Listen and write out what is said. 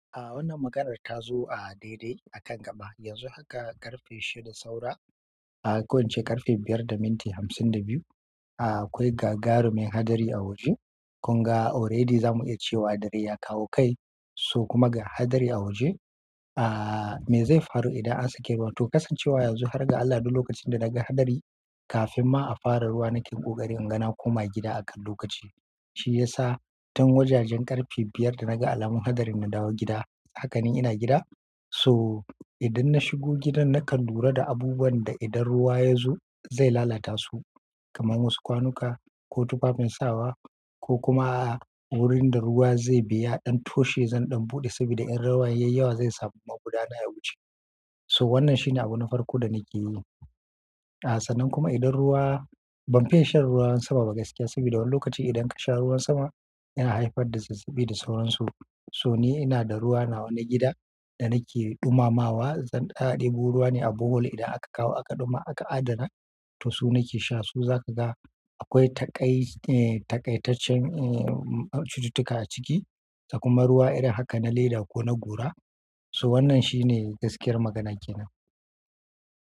A wannan maganar ta zo a daidai akan gaba yanzu haka ƙarfe shida saura, a ko ince ƙarfe biyar da minti hamsin da biyu. A akwai gagaru min hadari a waje. Kun ga already za mu iya cewa dare ya kawo kai, su kuma ga hadari a waje. A me zai faru idan an sake banto kasancewa yanzu har ga Allah duk lokacin da daga hadari kafin ma a fara ruwa nake ƙoƙari inga na koma gida akan lokaci. Shi ya sa tun wajajen ƙarfe biyar da naga alamun hadarin na dawo gida. Hakanan ina gida. So idan na shigo gidan nakan lura da abubuwan da idan ruwa ya zo zai lalata su, kamar wasu kwanuka ko tufafin sawa ko kuma a wurin da ruwa zai biya ɗan toshe zan ɗan buɗe saboda in ruwa ya yi yawa zai samu magudana ya wuce. So wannan shine abun farko da nake yi. A sannan kuma idan ruwa ban fiya shan ruwan sama ba gaskiya saboda wani lokaci idan ka sha ruwan sama yana haifar da zazzaɓi da sauran su. So ni ina da ruwa nawa na gida da nake dumamawa. Zan kar ɗebo ruwa ne a bowl idan aka kawo aka ɗuma aka adana. To su nake sha su zaka ga akwai taƙai, eh taƙaitaccen eh cututtuka a ciki. Kuma ruwa irin haka na leda ko na gora. So wannan shine gaskiyar maganar ke nan.